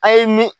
A' ye mi